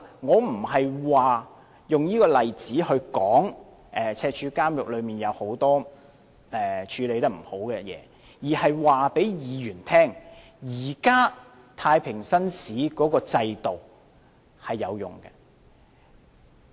我不是用這個例子來說赤柱監獄有很多處理不善的地方，而是要告訴議員，現時的太平紳士巡視制度是有用的。